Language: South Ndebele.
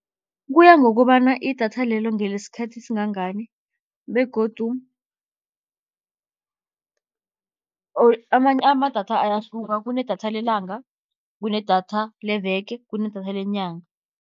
Kuya ngokobana idatha lelo ngelesikhathi esingangani begodu amadatha ayahluka kunedatha lelanga, kunedatha leveke, kunedatha lenyanga.